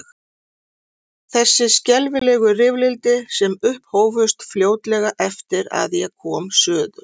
Þessi skelfilegu rifrildi sem upphófust fljótlega eftir að ég kom suður.